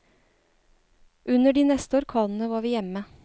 Under de neste orkanene var vi hjemme.